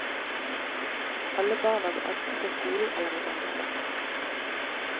Alle barna går enten på skolen eller i barnepark.